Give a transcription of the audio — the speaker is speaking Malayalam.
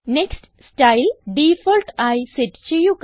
നെക്സ്റ്റ് സ്റ്റൈൽ ഡിഫോൾട്ട് ആയി സെറ്റ് ചെയ്യുക